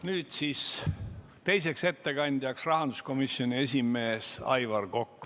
Nüüd tuleb teiseks ettekandjaks rahanduskomisjoni esimees Aivar Kokk.